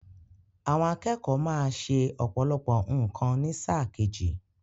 Àwọn akẹ́kọ̀ọ́ má ṣẹ ọ̀pọ̀lọpọ̀ nǹkan ní sáà kejì.